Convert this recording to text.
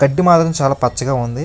గడ్డి మాత్రం చాలా పచ్చగా ఉంది.